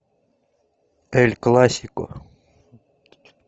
эль классико